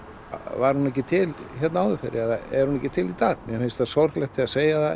var hún ekki til hér áður fyrr er hún ekki til í dag mér finnst sorglegt að segja það